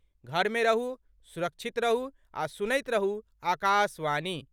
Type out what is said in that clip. घर मे रहू, सुरक्षित रहू आ सुनैत रहू आकाशवाणी।